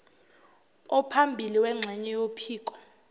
ophambili wengxenye yophiko